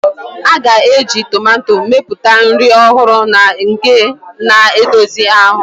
A ga-eji tomato mepụta nri ọhụrụ na nke na-edozi ahụ.